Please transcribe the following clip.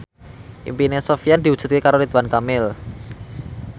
impine Sofyan diwujudke karo Ridwan Kamil